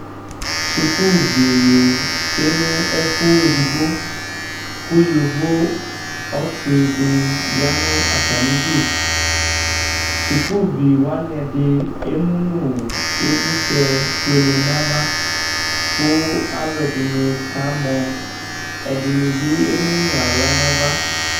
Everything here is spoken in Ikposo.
Sukuuvi ne tsue no ɛfuɛ edigbo ko yovo ɔse de ya no atame du Sukuvi wane ɛde emu no evletsɛ fuele nava ko alude ne ka mɔ, ɛdenne ve enu no ahla nava